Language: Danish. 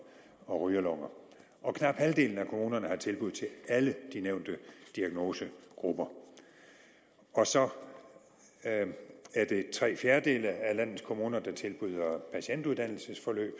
og rygerlunger og knap halvdelen af kommunerne har tilbud til alle de nævnte diagnosegrupper så er det tre fjerdedele af landets kommuner der tilbyder patientuddannelsesforløb